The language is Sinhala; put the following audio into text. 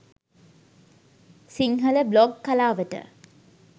සිංහල බ්ලොග් කලාවට